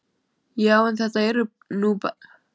Já, en þetta eru nú bara tveir tímar.